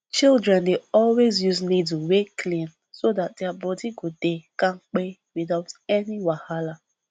children dey always use needle wey clean so that their body go dey kampe without any wahala